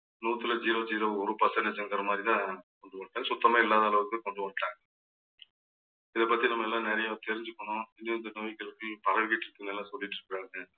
நூத்துல zero zero ஒரு percentage என்கிற மாதிரிதான் சுத்தமே இல்லாதளவுக்கு கொண்டு வந்துட்டாங்க. இதை பத்தி நம்ம எல்லாம் நிறைய தெரிஞ்சுக்கணும். இன்னும் இந்த நோய் பரவிட்டு இருக்குதுன்னு எல்லாம் சொல்லிட்டு இருக்காங்க.